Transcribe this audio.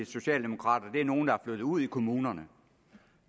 socialdemokrater er nogle der er flyttet ud i kommunerne